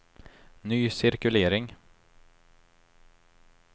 ny cirkulering